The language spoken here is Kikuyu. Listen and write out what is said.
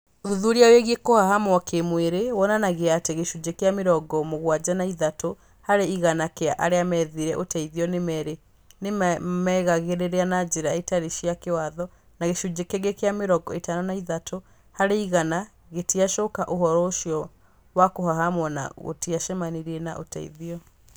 Ũthuthuria wĩgiĩ kũhahamwa kĩmwĩrĩ wonanagia atĩ gĩcunjĩ kĩa mĩrongo m ũgwaja na ĩthathat ũ harĩ igana kĩa arĩa methire uteithio nĩ merĩ gagĩrĩra na njĩra itarĩ cia kĩwatho, na gĩcunjĩ kĩngĩ kĩa mĩrongo ĩtano na ithatu harĩ igana gĩtiacuka ũhoro ũcio wa kuhahamwa na gĩtiacemanirie na ũteithio.